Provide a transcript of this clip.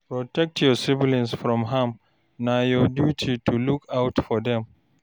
Protect your siblings from harm, na your duty to look out for dem